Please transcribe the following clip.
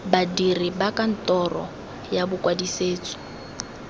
badiri ba kantoro ya bokwadisetso